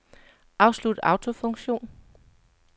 Afslut autofunktion.